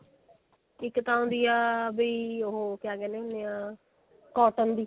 ਇੱਕ ਤਾਂ ਆਉਂਦੀ ਹੁੰਦੀ ਆ ਕੀ ਕਹਿੰਦੇ ਹੁੰਦੇ ਆਂ cotton ਦੀ